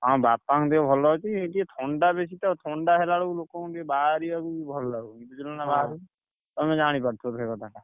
ହଁ, ବାପା କଣ ଦେହ ଭଲ ଅଛି ଏଇ ଟିକେ ଥଣ୍ଡା ବେଶୀ ତ ଥଣ୍ଡା ହେଲାବେଳକୁ ଲୋକକଣୁ ଟିକେ ବାହାରିଆକୁ ଭଲ ଲାଗୁନି ତମେ ଜାଣିପାରୁଥିବ ସେଇ କଥା ଟା।